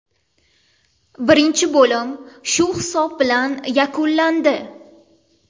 Birinchi bo‘lim shu hisob bilan yakunlandi.